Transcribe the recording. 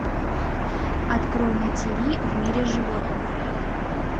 открой на тиви в мире животных